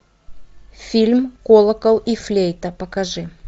фильм колокол и флейта покажи